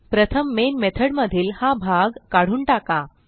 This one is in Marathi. प्रथम मेन मेथॉड मधील हा भाग काढून टाका